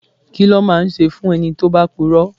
Kí ló máa ń ṣe fún ẹni tí ó bá puro?